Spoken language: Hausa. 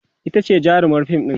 itace jarumar fim ɗin